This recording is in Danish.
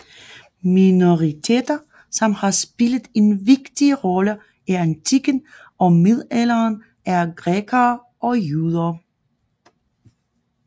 Minoriteter som har spillet en vigtig rolle i antikken og middelalderen er grækere og jøder